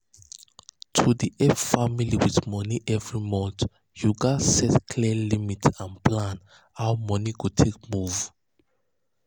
to dey help family with money every month you gats set clear limit and plan how money go take move.